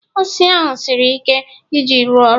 osisi ahu siri ike Iji ịrụ ọrụ